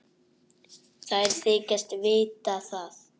Þær þykjast vita það.